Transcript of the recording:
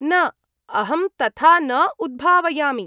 न, अहं तथा न उद्भावयामि।